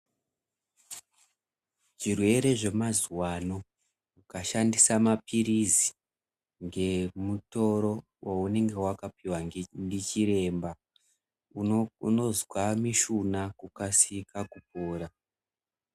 Zvirwere zvemazuwa ano ukashandisa mapirizi ngemutoro waunenge wakapuwa ndichiremba unozwa mishuna kukasika kupora.